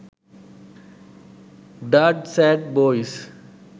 dard sad boys